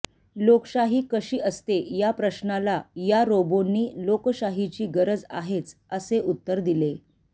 लोकशाही कशी असते या प्रश्नाला या रोबोंनी लोकशाहीची गरज आहेच असे उत्तर दिले